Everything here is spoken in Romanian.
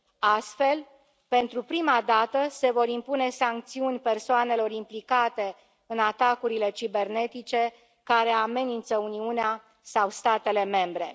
Astfel, pentru prima dată, se vor impune sancțiuni persoanelor implicate în atacurile cibernetice care amenință Uniunea sau statele membre.